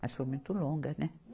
Mas foi muito longa, né?